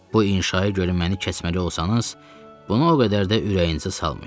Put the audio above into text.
Bu inşaya görə məni kəsməli olsanız, bunu o qədər də ürəyinizə salmayın.